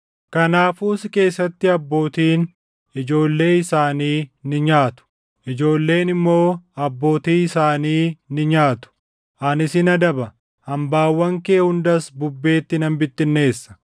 Kanaafuu si keessatti abbootiin ijoollee isaanii ni nyaatu; ijoolleen immoo abbootii isaanii ni nyaatu. Ani sin adaba; hambaawwan kee hundas bubbeetti nan bittinneessa.